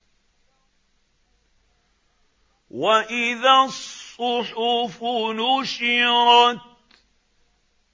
وَإِذَا الصُّحُفُ نُشِرَتْ